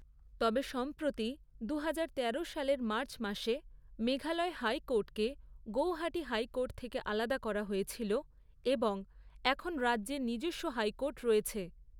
তবে সম্প্রতি দুহাজার তেরো সালের মার্চ মাসে, মেঘালয় হাইকোর্টকে গৌহাটি হাইকোর্ট থেকে আলাদা করা হয়েছিল এবং এখন রাজ্যের নিজস্ব হাইকোর্ট রয়েছে।